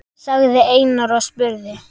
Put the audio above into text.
sagði Einar og spurði.